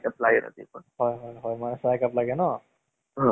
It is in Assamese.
এই কিবা হেৰি এহ